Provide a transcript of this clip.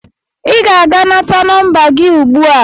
Ị ga-aga nata nọmba gị ugbu a!